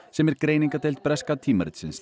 sem er greiningardeild breska tímaritsins